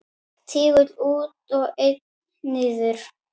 Tígull út og einn niður.